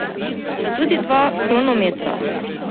Sta tudi dva kronometra.